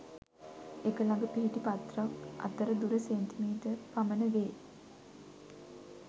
එක ළඟ පිහිටි පත්‍ර ක් අතර දුර සෙ.මී පමණ වේ